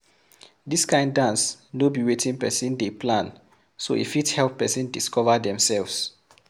Dis kind dance no be wetin person dey plan so e fit help person discover themselves